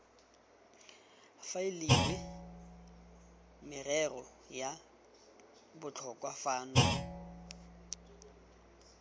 faeliwe merero ya botlhokwa fano